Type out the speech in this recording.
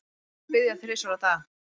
Gyðingar biðja þrisvar á dag.